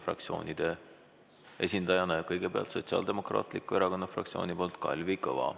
Fraktsiooni esindajana kõigepealt Sotsiaaldemokraatliku Erakonna fraktsiooni nimel Kalvi Kõva.